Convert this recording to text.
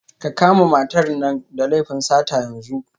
Ka kama matar nan da laifin sata yanzu